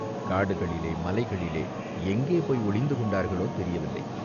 காடுகளிலே, மலைகளிலே எங்கே போய் ஒளிந்து கொண்டார்களோ, தெரியவில்லை.